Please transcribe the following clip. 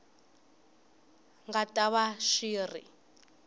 nga ta va xi ri